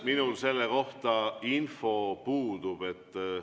Minul selle kohta info puudub.